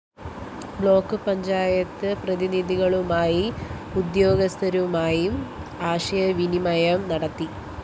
block panchayat പ്രതിനിധികളുമായും ഉദ്യോഗസ്ഥരുമായും ആശയവിനിമയം നടത്തി